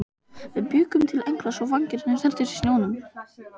Við bjuggum til engla svo vængirnir snertust í snjónum.